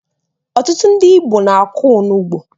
Ọtụtụ ndị Igbo na-akọ onugbu